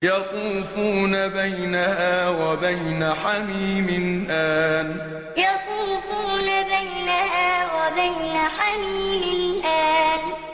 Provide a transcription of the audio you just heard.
يَطُوفُونَ بَيْنَهَا وَبَيْنَ حَمِيمٍ آنٍ يَطُوفُونَ بَيْنَهَا وَبَيْنَ حَمِيمٍ آنٍ